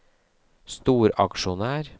storaksjonær